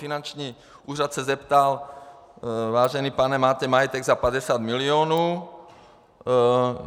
Finanční úřad se zeptal: Vážený pane, máte majetek za 50 milionů.